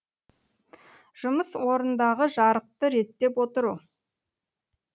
жұмыс орындағы жарықты реттеп отыру